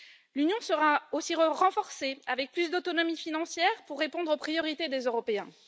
L'Union sera aussi renforcée, avec plus d'autonomie financière pour répondre aux priorités des Européens.